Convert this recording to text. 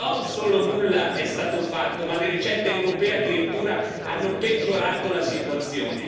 Non solo nulla è stato fatto, ma le ricette europee hanno addirittura peggiorato la situazione.